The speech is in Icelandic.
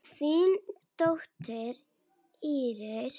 Þín dóttir, Íris.